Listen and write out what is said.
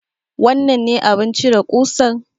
Wannan ne abin cire ƙusan?